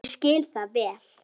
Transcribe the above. Ég skil það vel.